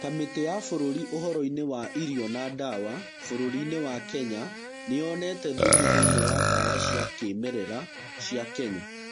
Kamĩtĩ ya bũrũri ũhoroinĩ wa ĩrĩo na ndawa bũrũrinĩ wa Kenya nĩyonete thumu thĩiniĩ wa ndawa cia kĩmerera cia Kenya.